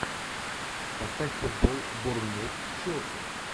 поставь футбол борнмут с челси